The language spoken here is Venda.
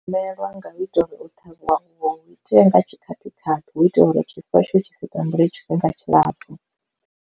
Mvelelo yanga hu itela uri o ṱhavhiwa uvhu itea nga tshikhaphikhaphi hu itela uri tshifuwo tshau tshi si tambule tshifhinga tshilapfhu.